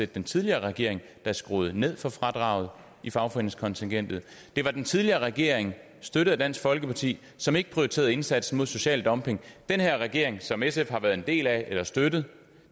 den tidligere regering der skruede ned for fradraget i fagforeningskontingentet det var den tidligere regering støttet af dansk folkeparti som ikke prioriterede indsatsen mod social dumping den her regering som sf har været en del af eller støttet